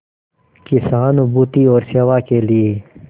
की सहानुभूति और सेवा के लिए